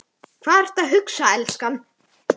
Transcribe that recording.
Hvað ertu að hugsa, elskan?